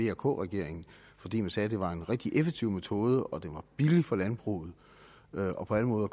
af vk regeringen fordi man sagde at det var en rigtig effektiv metode og at den var billig for landbruget og på alle måder